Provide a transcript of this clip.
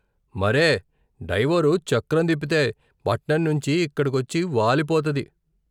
మరే, డైవోరు చక్రం తిప్పితే పట్నం నుంచి ఇక్కడికొచ్చి వాలిపోతది.